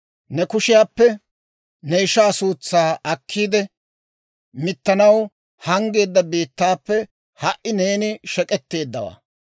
Ne kushiyaappe ne ishaa suutsaa akkiide, mittanaw hanggeedda biittaappe ha"i neeni shek'etteeddawaa.